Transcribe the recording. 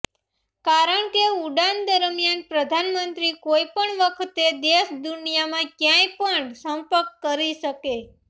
કારણ કે ઉડાન દરમિયાન પ્રધાનમંત્રી કોઇ પણ વખતે દેશ દુનિયામાં ક્યાંય પણ સંપર્ક કરી શકે